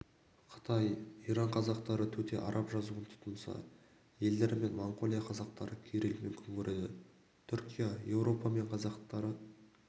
қытай иран қазақтары төте араб жазуын тұтынса елдері мен моңғолия қазақтары кириллмен күн көреді түркия еуропа мен қазақтары